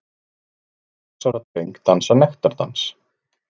Lét sex ára dreng dansa nektardans